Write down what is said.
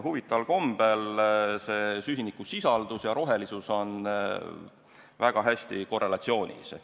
Huvitaval kombel on süsinikusisaldus ja rohelisus väga hästi korrelatsioonis.